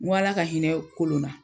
Ŋo Ala ka hinɛ Kolon na.